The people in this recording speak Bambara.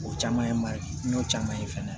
O caman ye man ɲi n'o caman ye fana